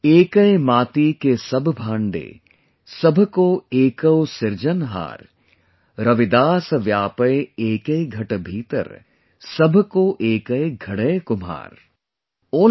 EKAI MAATI KE SABH BHAANDE, SABH KA EKAU SIRJANHAAR | RAVIDAS VYAAPAI EKAI GHAT BHEETAR, SABH KAU EKAY GHADAI KUMHAR ||